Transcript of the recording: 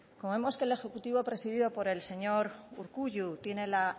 como vemos que el ejecutivo presidido por el señor urkullu tiene la